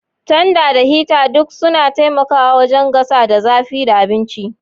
Tanda da hita duk suna taimakawa wajen gasa da zafi da abinci.